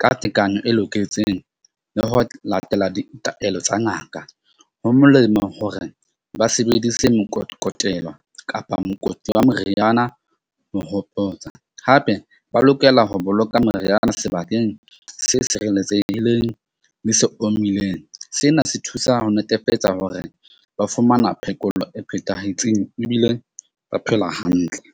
ka tekano e loketseng, le ho latela ditaelo tsa ngaka. Ho molemo hore ba sebedise mokokotelo kapa mokoti wa moriana, ho hopotsa hape ba lokela ho boloka moriana sebakeng se sireletsehileng le se omileng. Sena se thusa ho netefetsa hore ba fumana phekollo e phethahetseng ebile ba phela hantle.